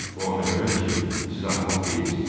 Bu ona görədir ki, siz axmaq deyilsiz.